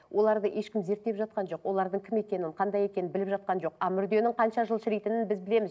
оларды ешкім зерттеп жатқан жоқ олардың кім екенін қандай екенін біліп жатқан жоқ а мүрденің қанша жыл шірейтінін біз білеміз